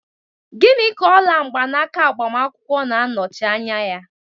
Gịnị ka ola mgbanaka agbamakwụkwọ na-anọchi anya ya?